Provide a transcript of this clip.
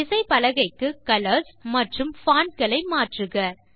விசைப்பலகைக்கு colours மற்றும் font களை மாற்றுக